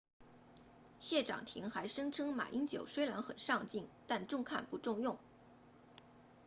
谢长廷还声称马英九虽然很上镜但中看不中用